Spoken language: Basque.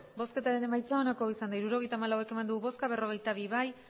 hirurogeita hamalau eman dugu bozka berrogeita bi bai